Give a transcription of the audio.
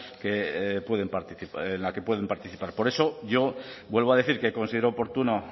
en la que pueden participar por eso yo vuelvo a decir que considero oportuno